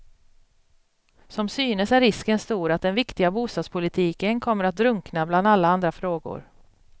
Som synes är risken stor att den viktiga bostadspolitiken kommer att drunkna bland alla andra frågor.